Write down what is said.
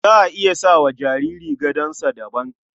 Za a iya sama wa jariri gadonsa daban.